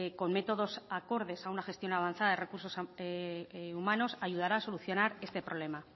con métodos acordes a una gestión avanzada de recursos humanos ayudará a solucionar este problema